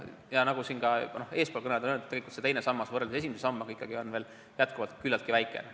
Ja nagu ka eespool kõnelejad on öelnud, tegelikult on teine sammas võrreldes esimese sambaga ikkagi veel küllatki väike.